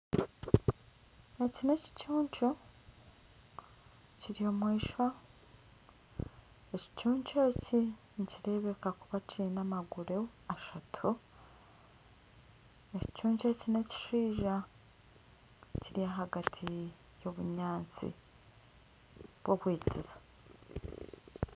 Eki nekicuncu Kiri omwishwa. Ekicuncu eki nikirebeka kuba kyine amaguru ashatu. Ekicuncu eki nekishija kiri ahagati y'obunyaatsi bw'obwikiza.